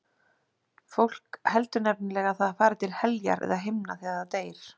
Fólk heldur nefnilega að það fari til heljar eða himna þegar það deyr.